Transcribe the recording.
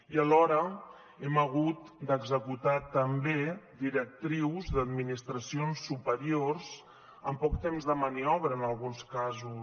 i alhora hem hagut d’executar també directrius d’administracions superiors amb poc temps de maniobra en alguns casos